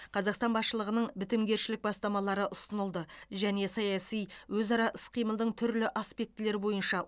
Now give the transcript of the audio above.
қазақстан басшылығының бітімгершілік бастамалары ұсынылды және саяси өзара іс қимылдың түрлі аспектілері бойынша